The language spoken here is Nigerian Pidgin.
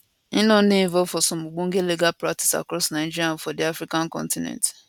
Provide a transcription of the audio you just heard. im don dey involved for some ogbonge legal practice across nigeria and for di african continent